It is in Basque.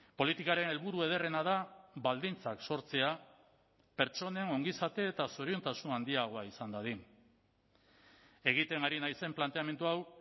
politikaren helburu ederrena da baldintzak sortzea pertsonen ongizate eta zoriontasun handiagoa izan dadin egiten ari naizen planteamendu hau